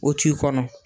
O t'i kɔnɔ